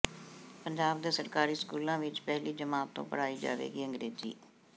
ਪੰਜਾਬ ਦੇ ਸਰਕਾਰੀ ਸਕੂਲਾਂ ਵਿਚ ਪਹਿਲੀ ਜਮਾਤ ਤੋਂ ਪੜ੍ਹਾਈ ਜਾਵੇਗੀ ਅੰਗਰੇਜ਼ੀ